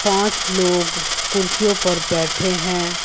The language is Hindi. पांच लोग कुर्सियों पर बैठे हैं।